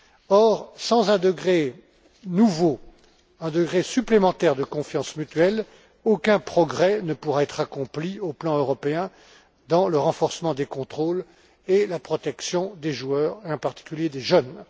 Or, sans un degré nouveau, un degré supplémentaire de confiance mutuelle, aucun progrès ne pourra être accompli au plan européen dans le renforcement des contrôles et la protection des joueurs, en particulier des jeunes.